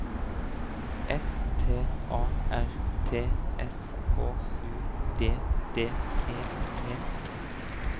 S T A R T S K U D D E T